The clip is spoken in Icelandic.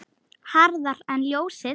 Hraðar en ljósið.